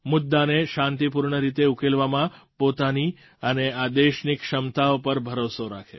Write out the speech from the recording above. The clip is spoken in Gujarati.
મુદ્દાને શાંતિપૂર્ણ રીતે ઉકેલવામાં પોતાની અને આ દેશની ક્ષમતાઓ પર ભરોસો રાખો